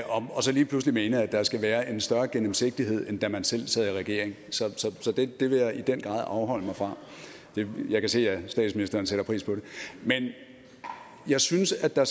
og så lige pludselig mene at der skal være en større gennemsigtighed end da man selv sad i regering så det vil jeg i den grad afholde mig fra jeg kan se at statsministeren sætter pris på det men jeg synes at der